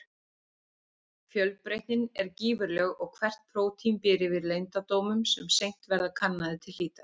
Fjölbreytnin er gífurleg og hvert prótín býr yfir leyndardómum sem seint verða kannaðir til hlítar.